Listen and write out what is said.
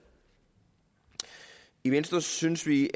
i venstre synes vi